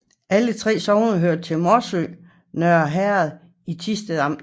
Alle 3 sogne hørte til Morsø Nørre Herred i Thisted Amt